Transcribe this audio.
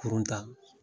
Kurun ta